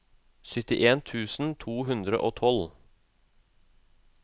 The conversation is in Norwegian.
syttien tusen to hundre og tolv